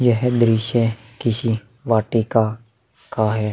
यह है दृश्य किसी वाटिका का है।